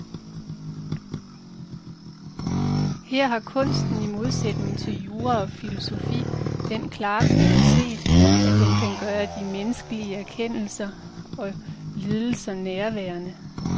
Her har kunsten i modsætning til jura og filosofi den klare kvalitet, at den kan gøre de menneskelige erkendelser og lidelser nærværende.